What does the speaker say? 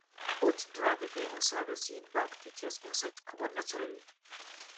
put dry pepper inside the seed bag to chase insects comot naturally